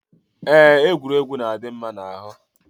Eé, egwuregwu na-adị mma n'ahụ.